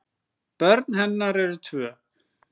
Börn hennar eru tvö.